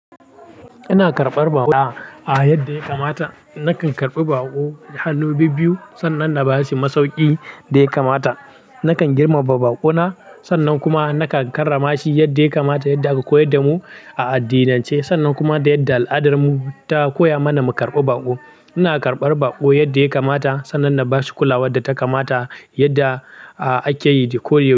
Ina karɓar baƙo yadda ya kamata. Nakan karɓi baƙo da hannu biyu, sannan na ba su masauƙin da ya kamata. Nakan girmama baƙo na, sannan kuma nakan karrama shi yadda ya kamata yadda aka koyar da mu a addinance. Sannan kuma da yadda al'adarmu ta koya mana mu karɓi baƙo. Ina karɓar baƙo yadda ya kamata, sannan na ba su kulawar da ta kamata yadda ake yi dai ko da yaushe.